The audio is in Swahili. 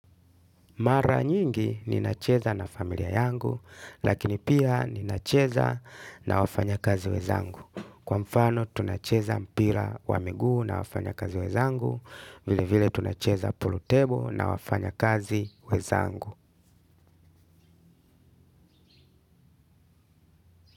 Mara nyingi ninacheza na familia yangu lakini pia ninacheza na wafanyakazi wezangu. Kwa mfano tunacheza mpira wa miguu na wafanyakazi wezangu. Vile vile tunacheza purutebo na wafanyakazi wezangu.